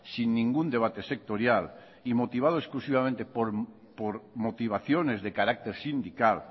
sin ningún debate sectorial y motivado exclusivamente por motivaciones de carácter sindical